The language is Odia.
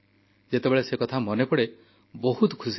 ଯେତେବେଳେ ସେ କଥା ମନେପଡ଼େ ବହୁତ ଖୁସିଲାଗେ